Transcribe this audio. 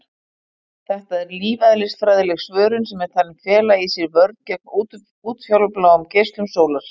Þetta er lífeðlisfræðileg svörun sem er talin fela í sér vörn gegn útfjólubláum geislum sólar.